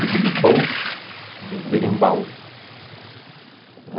Diddley-bow berimbau.